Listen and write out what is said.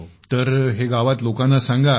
तर हे गावात लोकांना सांगा